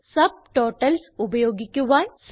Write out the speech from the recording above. subtotals ഉപയോഗിക്കുവാൻ